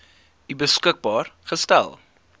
u beskikbaar gestel